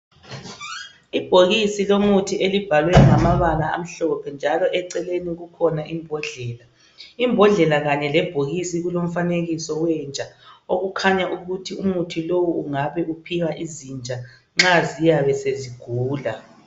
ibhokisi elibhalwe ngamabala amhlophe njalo eceleni kukhona imbodlela, imbodlela kanye lebhokisi kufanekiswe umfanekiso wenja okukhanya ukuthi umuthi lowu ungabe uphiwa izinja nxa ziyabe sezigula